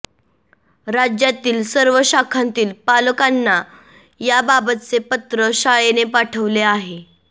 राज्यातील सर्व शाखांतील पालकांना याबाबतचे पत्र शाळेने पाठवले आहे